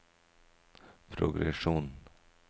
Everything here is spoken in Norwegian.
progresjon